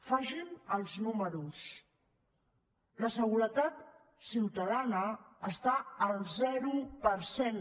facin els números la seguretat ciutadana està al zero per cent